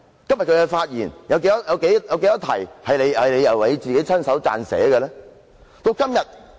今天的發言有多少篇幅是你自己親手撰寫的？